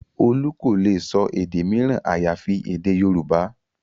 Olú kò lè sọ èdè mìíràn àyàfi èdè Yorùbá